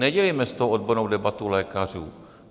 Nedělejme z toho odbornou debatu lékařů.